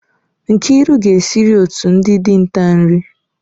Nkiru ga-esiri otu ndị dinta nri.